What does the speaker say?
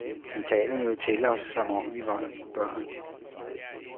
Han taler jo til os, som om vi er børn.